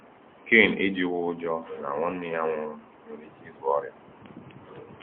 Kain ejughị ụjọ na nwanne ya nwụrụ nwere ike ịzụ ọrịa.